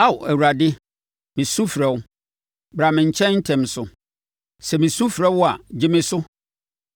Ao Awurade, mesu mefrɛ wo, bra me nkyɛn ntɛm so. Sɛ mesu mefrɛ wo a, gye me so.